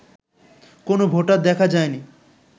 কোন ভোটার দেখা যায়নি